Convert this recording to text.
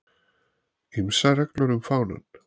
Ýmsar reglur um fánann